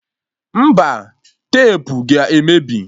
Mba, tepu ga-emebi